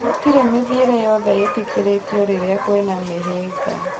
Gũtire mĩthĩire yothe ĩtĩkĩrĩtĩo rĩrĩa kwĩna mĩhĩnga